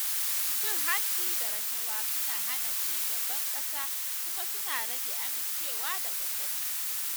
Cin hanci da rashawa suna hana cigaban ƙasa kuma suna rage amincewa da gwamnati.